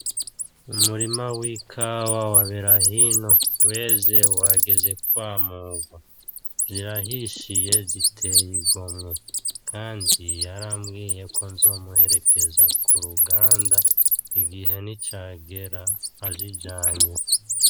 Umurima w'ikawa wa Berahino ureze wageze kwamurwa, vyahishiye ziteye igomwe kandi yarambwiye ko nzomuherekeza k’uruganda igihe nicagera azijanye.